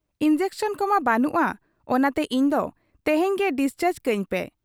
Injection ᱠᱚᱢᱟ ᱵᱟᱹᱱᱩᱜ ᱟ ᱾ ᱚᱱᱟᱛᱮ ᱤᱧᱫᱚ ᱛᱮᱦᱮᱧ ᱜᱮ ᱰᱤᱥᱪᱟᱨᱡᱽ ᱠᱟᱹᱧᱯᱮ ᱾